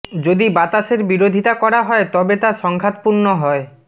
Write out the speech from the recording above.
যদি বাতাসের বিরোধিতা করা হয় তবে তা সংঘাতপূর্ণ হয়